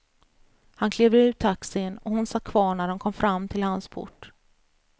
Han klev ur taxin och hon satt kvar när de kom fram till hans port.